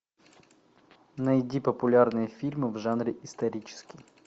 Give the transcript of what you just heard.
найди популярные фильмы в жанре исторический